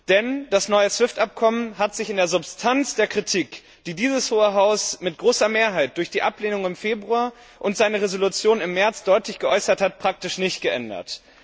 Denn das neue SWIFT Abkommen hat sich in der Substanz der Kritik, die dieses Hohe Haus mit großer Mehrheit durch die Ablehnung im Februar und seine Entschließung im März deutlich geäußert hat, praktisch nicht geändert.